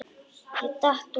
Ég datt út.